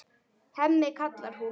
Hemmi, kallar hún.